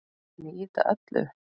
Þá mun ég ýta öllu upp.